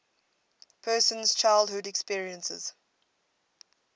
person's childhood experiences